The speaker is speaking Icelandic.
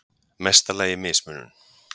mesta lagi mismunun.